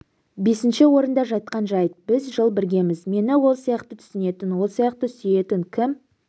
бесінші орында жатқан жайт біз жыл біргеміз мені ол сияқты түсінетін ол сияқты сүйетін кім